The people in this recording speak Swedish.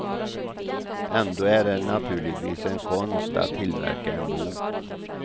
Ändå är det naturligtvis en konst att tillverka en bok.